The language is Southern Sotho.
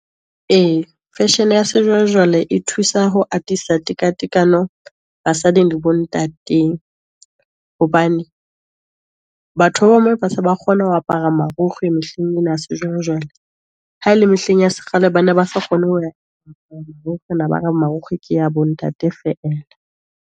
E, fashion-e ya sejwalejwale e thusa ho atisa teka tekano basading le bo ntateng, hobane batho ba bomme ba se ba kgona ho apara marukgwe mehleng ena ya sejwalejwale. Ha ele mehleng ya se kgale, ba ne ba sa kgone ho ne ba re marukgwe ke ya bo ntate feela.